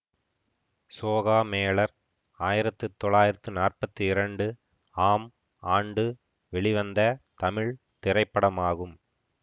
சோகாமேளர் ஆயிரத்தி தொள்ளாயிரத்தி நாற்பத்தி இரண்டு ஆம் ஆண்டு வெளிவந்த தமிழ் திரைப்படமாகும்